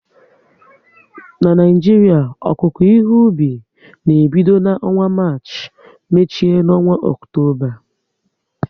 Na Naijiria, okuko ihe obi na ebido n'ọnwa Marchi, mechie n'ọnwa Ọktoba